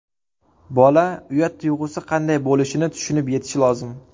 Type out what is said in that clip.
Bola uyat tuyg‘usi qanday bo‘lishini tushunib yetishi lozim.